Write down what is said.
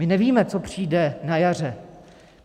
My nevíme, co přijde na jaře.